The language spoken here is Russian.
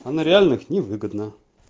а на реальных невыгодно